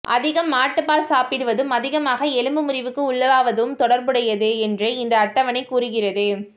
அதிகம் மாட்டுப்பால் சாப்பிடுவதும் அதிகமாக எலும்பு முறிவுக்கு உள்ளாவதும் தொடர்புடையது என்று இந்த அட்டவணை கூறுகிறது